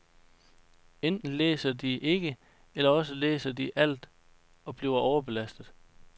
Enten læser de ikke, eller også læser de alt og bliver overbelastet.